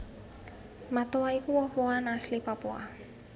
Matoa iku woh wohan asli Papua